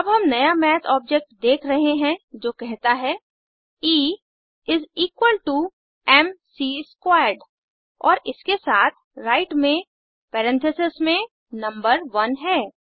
अब हम नया मैथ ऑब्जेक्ट देख रहे हैं जो कहता है E is equal to M C squared और इसके साथ राइट में परेन्थिसिस में नंबर 1 है